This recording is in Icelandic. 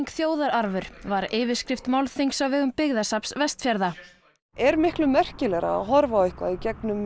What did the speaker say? þjóðararfur var yfirskrift málþings á vegum Byggðasafns Vestfjarða er miklu merkilegra að horfa á eitthvað í gegnum